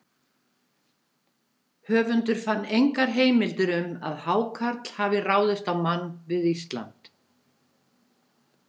Höfundur fann engar heimildir um að hákarl hafi ráðist á mann við Ísland.